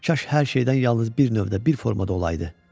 Kaş hər şeydən yalnız bir növdə, bir formada olaydı.